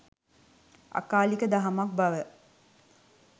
අකාලික දහමක් බව